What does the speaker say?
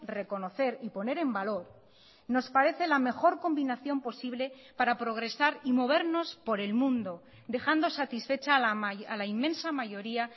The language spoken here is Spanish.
reconocer y poner en valor nos parece la mejor combinación posible para progresar y movernos por el mundo dejando satisfecha a la inmensa mayoría